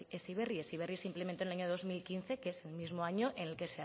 heziberri heziberri simplemente en el año dos mil quince que es el mismo año en el que